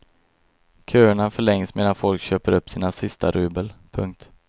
Köerna förlängs medan folk köper upp sina sista rubel. punkt